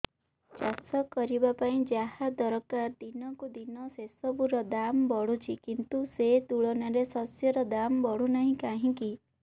ଚାଷ କରିବା ପାଇଁ ଯାହା ଦରକାର ଦିନକୁ ଦିନ ସେସବୁ ର ଦାମ୍ ବଢୁଛି କିନ୍ତୁ ସେ ତୁଳନାରେ ଶସ୍ୟର ଦାମ୍ ବଢୁନାହିଁ କାହିଁକି